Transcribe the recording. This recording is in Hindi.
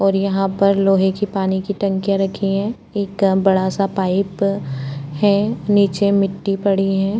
और यहाँ पर लोहै के पानी की टंकियां रखी हैएक बड़ा सा पाइप है नीचे मिट्टी पड़ी है।